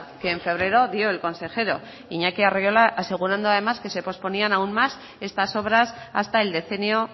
que en febrero dio el consejero iñaki arriola asegurando además que se posponía aún más estas obras hasta el decenio